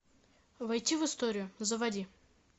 войти в историю заводи